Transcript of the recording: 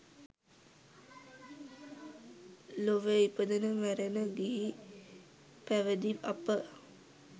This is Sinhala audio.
ලොවේ ඉපදෙන මැරෙන ගිහි පැවිදි අප